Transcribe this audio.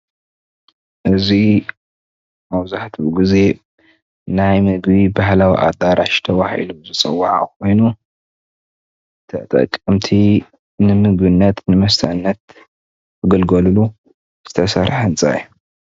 እዚ መብዛሕትኡ ግዜ ናይ ምግቢ ባህላዊ ኣዳራሽ ተባሂሉ ዝፅዋዕ ኮይኑ ተጠቀምቲ ንምግብነት ንመስተነት ዝግልገልሉ ዝተሰርሐ ህንፃ እዩ፡፡